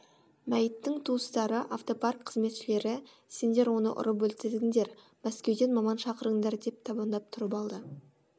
мәйіттің туыстары автопарк қызметшілері сендер оны ұрып өлтірдіңдер мәскеуден маман шақырыңдар деп табандап тұрып алады